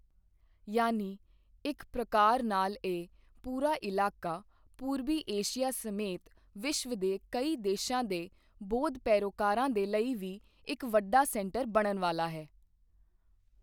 ਯਾਨੀ ਇੱਕ ਪ੍ਰਕਾਰ ਨਾਲਇਹ ਪੂਰਾ ਇਲਾਕਾ ਪੂਰਬੀ ਏਸ਼ੀਆ ਸਮੇਤ ਵਿਸ਼ਵ ਦੇ ਕਈ ਦੇਸ਼ਾਂ ਦੇ ਬੌਧ ਪੈਰੋਕਾਰਾਂ ਦੇ ਲਈ ਵੀ ਇੱਕ ਵੱਡਾ ਸੈਂਟਰ ਬਣਨ ਵਾਲਾ ਹੈ।